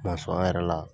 an yɛrɛ la